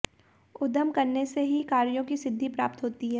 उद्यम करने से ही कार्यों की सिद्धि प्राप्त होती है